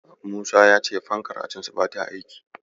Musa ya ce fankar ajinsu bata aiki.